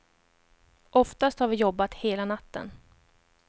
Oftast har vi jobbat hela natten.